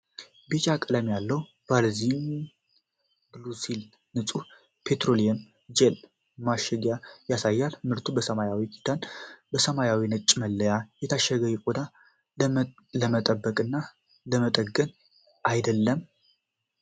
ቢጫ ቀለም ያለው ቫዝሊን ብሉሲል ንጹህ ፔትሮሊየም ጄሊ ማሸጊያን ያሳያል፤ ምርቱ በሰማያዊ ክዳን እና ሰማያዊና ነጭ መለያ የታሸገው ቆዳን ለመጠበቅና ለመጠገን አይደለም?